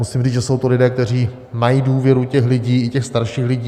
Musím říct, že jsou to lidé, kteří mají důvěru těch lidí, i těch starších lidí.